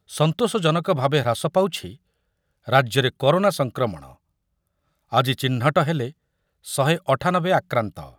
ସନ୍ତୋଷଜନକଭାବେ ହ୍ରାସ ପାଉଛି ରାଜ୍ୟରେ କରୋନା ସଂକ୍ରମଣ, ଆଜି ଚିହ୍ନଟ ହେଲେ ଶହେ ଅଠାନବେ ଆକ୍ରାନ୍ତ ।